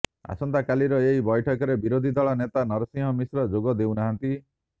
ଆସନ୍ତକାଲିର ଏହି ବୈଠକରେ ବିରୋଧୀ ଦଳ ନେତା ନରସିଂହ ମିଶ୍ର ଯୋଗ ଦେଉନାହାନ୍ତି